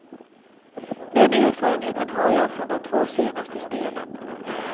Den erfarenheten har jag från de två senaste spelen.